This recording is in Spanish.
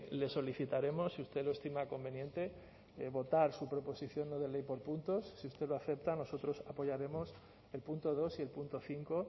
le solicitaremos si usted lo estima conveniente votar su proposición no de ley por puntos si usted lo acepta nosotros apoyaremos el punto dos y el punto cinco